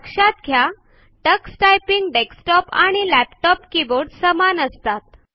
लक्षात घ्या Tux typing desktop आणि लॅपटॉप कीबोर्ड समान असतात